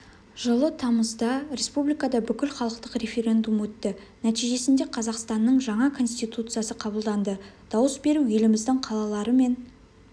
жылы тамызда республикада бүкілхалықтық референдум өтті нәтижесінде қазақстанның жаңа конституциясы қабылданды дауыс беру еліміздің қалалары мен